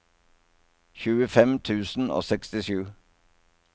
tjuefem tusen og sekstisju